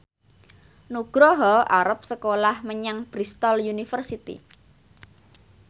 Nugroho arep sekolah menyang Bristol university